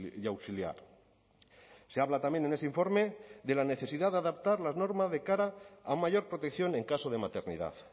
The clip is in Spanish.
y auxiliar se habla también en ese informe de la necesidad de adaptar la norma de cara a mayor protección en caso de maternidad